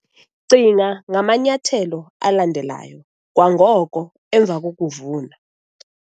Cinga ngamanyathelo alandelayo kwangoko emva kokuvuna